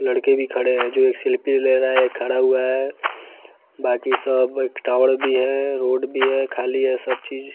लड़के भी खड़े हैं जो एक शिल्पी ले रहा है एक खड़ा हुआ है बाकी सब एक टावर भी है रोड भी है खाली है सब चीज।